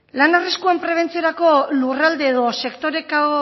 lan arriskuen prebentziorako lurralde edo sektoreko